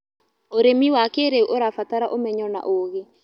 Ũrĩmĩ wa kĩĩrĩũ ũrabatara ũmenyo na ũgĩ